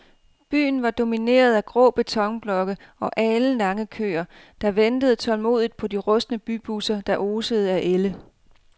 Byen var domineret af grå betonblokke og alenlange køer, der ventede tålmodigt på de rustne bybusser, der osede af ælde.